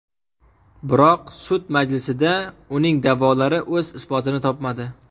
Biroq sud majlisida uning da’volari o‘z isbotini topmadi.